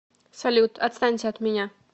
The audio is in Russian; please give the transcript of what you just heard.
салют отстаньте от меня